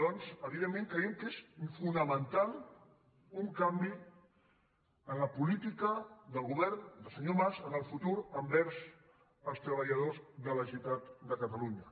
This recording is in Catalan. doncs evidentment creiem que és fonamental un canvi en la política del govern del senyor mas en el futur envers els treballadors de la generalitat de catalunya